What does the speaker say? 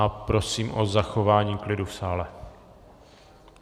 A prosím o zachování klidu v sále.